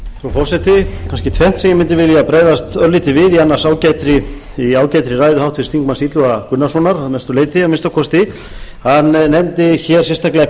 er kannski tvennt sem ég mundi vilja bregðast örlítið við í annars ágætri ræðu háttvirts þingmanns illuga gunnarssonar að mestu leyti að minnsta kosti hann nefndi hér sérstaklega